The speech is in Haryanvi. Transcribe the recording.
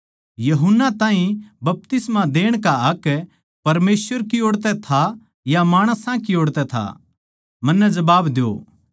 यूहन्ना ताहीं बपतिस्मा देण का हक परमेसवर की ओड़ तै था या माणसां की ओड़ तै था मन्नै जबाब द्यो